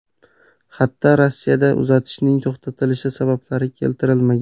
Xatda Rossiyada uzatishning to‘xtatilishi sabablari keltirilmagan.